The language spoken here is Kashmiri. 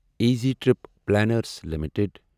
easy trip planners limited